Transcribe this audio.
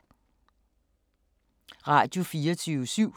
Radio24syv